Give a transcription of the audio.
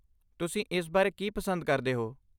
ਤੁਸੀਂ ਇਸ ਬਾਰੇ ਕੀ ਪਸੰਦ ਕਰਦੇ ਹੋ?